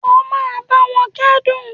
O máa báwọn kẹ́dùn.